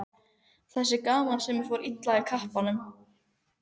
Þessi gamansemi fór illa í kappann.